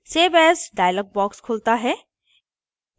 save as dialog box खुलता है